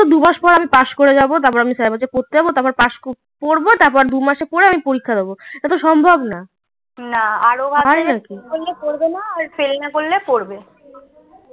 দুমাস পর আমি পাস করে যাবো তার পর আমি সারা বছর পড়তে যাবো তার পর পাস পড়বো তারপর আমি দুমাসে পরে আমি পরীক্ষা দেবো এত সম্ভব না ফেল না করলে পড়বে